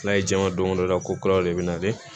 N'a ye jama don da ko kuraw de bɛ nalen